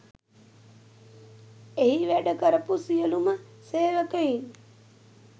එහි වැඩ කරපු සියලුම සේවකයින්